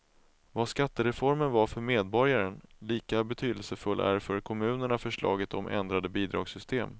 Vad skattereformen var för medborgaren, lika betydelsefull är för kommunerna förslaget om ändrade bidragssystem.